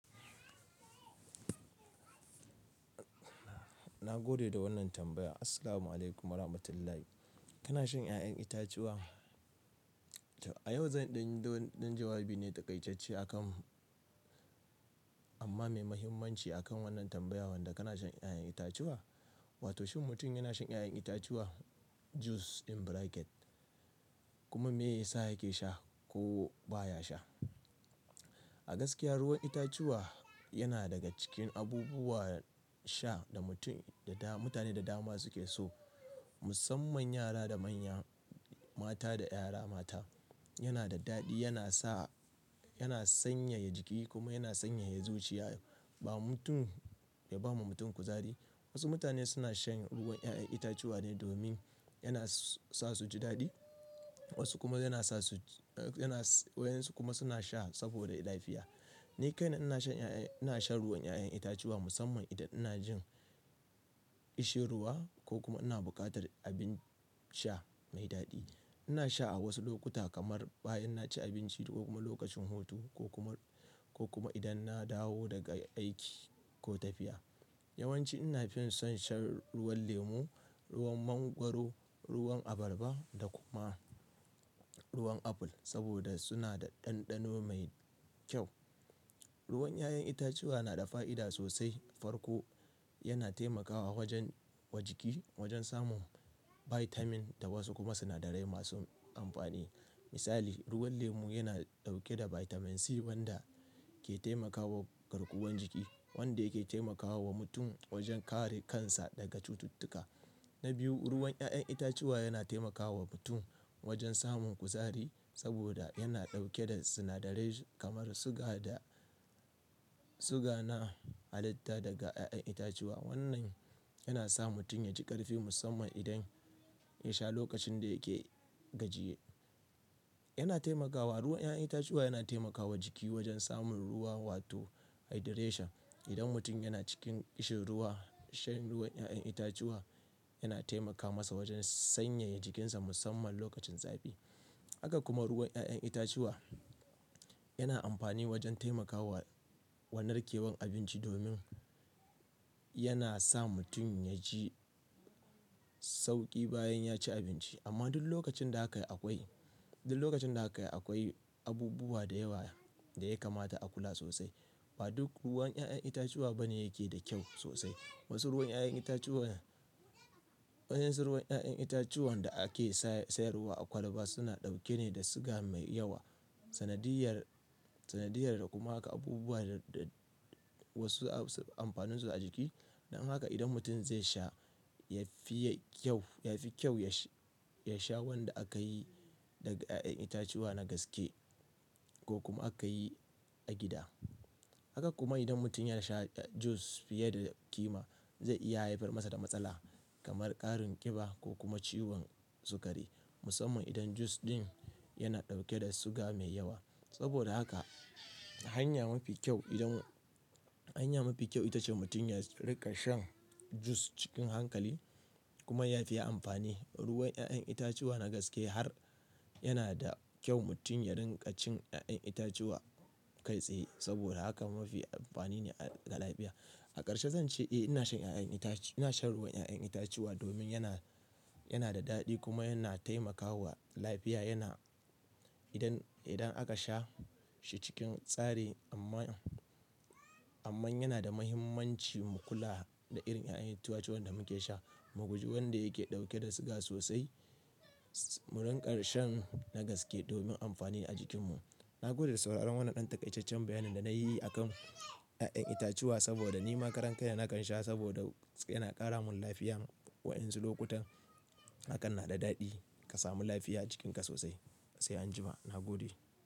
Na gode da wannan tambaya. Assalamu'alaikum warahmatullahi. Kana shan 'ya'yan itatuwa? A yau zan ɗin ɗo ɗin jawabi ne takaitacce akan amma mai muhimmanci akan wannan tambayawan da kana shan 'ya'yan itatuwa wato shin mutum yana shan 'ya'yan itatuwa "Juice" in bracket kuma me yasa yake sha ko baya sha. A gaskiya ruwan itatuwa yana daga cikin abubuwan sha da mutum da da mutane da dama suke so. Musamman yara da manya, mata da yara mata. Yana da daɗi yana sa-- yana sanyaya jiki kuma yana sanyaya zuciya ba mutum ya ba ma mutum kuzari. Wasu mutane suna shan ruwan 'ya'yan itatuwa ne domin yana sa su ji daɗi wasu kuma yana sa su-- yana wayonsu kuma suna sha saboda lafiya. Ni kaina ina shan 'ya'yan-- ina shan ruwan 'ya'yan itatuwa musamman idan ina jin ƙishin ruwa ko kuma ina buƙatar abin sha mai daɗi. Ina sha a wasu lokuta kamar bayan na ci abinci ko kuma lokacin hutu ko kuma, ko kuma idan na dawo daga aiki ko tafiya. Yawanci ina fin son shan ruwan lemu, ruwan mangwaro, ruwan abarba da kuma ruwan aful saboda suna da ɗanɗano mai kyau. Ruwan 'ya'yan itatuwa na da fa'ida sosai. Farko yana taimakawa wajen, wa jiki wajen samun vitamin da wasu kuma sunadarai masu amfani. Misali ruwan lemu yana ɗauke da vitamin C wanda ke taimakawa garkuwan jiki wanda yake taimakawa wa mutum wajen kare kansa daga cututtuka. Na biyu ruwan 'ya'yan itatuwa yana taimakawa mutum wajen samun kuzari saboda yana ɗauke da sunadarai kamar suga da-- suga na halitta daga 'ya'yan itatuwa. Wannan yana sa mutum yaji ƙarfi musamman idan ya sha lokacin da yake gajiye. Yana taimakawa-- ruwan 'ya'yan itatuwa yana taimakawa jiki wajen samun ruwa wato hydration. Idan mutum yana cikin kishin ruwa shan ruwan 'ya'yan itatuwa yana taimaka masa wajen sanyaya jikinsa musamman lokacin zafi. Haka kuma ruwan 'ya'yan itatuwa yana amfani wajen taimakawa wa narkewan abinci domin yana sa mutum yaji sauƙi bayan ya ci abinci. Amma duk lokacin da haka akwai, duk lokacin da haka akwai abubuwa da yawa da ya kamata a kula sosai. Ba duk ruwan 'ya'yan itatuwa bane yake da kyau sosai. Wasu ruwan 'ya'yan itatuwan, wayen su ruwan 'ya'yan itatuwan da ake sayarwa a kwalaba suna ɗauke ne da suga mai yawa, sanadiyyar, sanadiyyar da kuma haka abubuwa da, da wasu amfanin su a jiki. Dan haka idan mutum zai sha ya fi kyau, ya fi kyau ya sha wanda aka yi daga 'ya'yan itatuwa na gaske ko kuma aka yi a gida. Haka kuma idan mutum ya sha juice fiye da kima zai iya haifar masa da matsala kamar ƙarin ƙiba ko kuma ciwon sukari musamman idan juice din yana ɗauke da suga mai yawa. Saboda haka hanya mafi kyau idan, hanya mafi kyau ita ce mutum ya riƙa shan juice cikin hankali kuma ya fiye amfani ruwan 'ya'yan itatuwa na gaske har yana da kyau mutum ya riƙa cin 'ya'yan itacewa kai tsaye saboda haka mafi amfani ne ga lafiya. A ƙarshe zan ce eh ina shan 'ya'yan itace ina shan ruwan 'ya'yan itatuwa domin yana, yana da daɗi kuma yana taimakawa lafiya yana-- idan, idan aka sha shi cikin tsari amma, amma yana da muhimmanci mu kula da irin 'ya'yan itace wan da muke sha. Mu guji wanda yake ɗauke da suga sosai. Mu riƙa shan na gaske domin amfani a jikinmu. Na gode da sauraron wannan ɗan takaitaccen bayanin da na yi akan 'ya'yan itacewa saboda ni ma karan kai na nakan sha saboda yana ƙara mun lafiya wayonsu lokutan hakan na da daɗi ka samu lafiya a jikinka sosai. Sai anjima. Na gode.